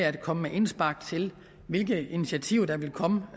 at komme med indspark til hvilke initiativer der vil komme